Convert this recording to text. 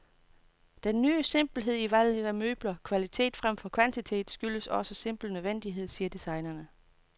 Den ny simpelhed i valget af møbler, kvalitet fremfor kvantitet, skyldes også simpel nødvendighed, siger designerne.